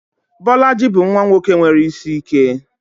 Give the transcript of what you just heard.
Bolaji bụ nwa nwoke nwere isi ike.